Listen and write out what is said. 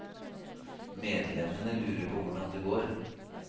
Medlemmene lurer på hvordan det går.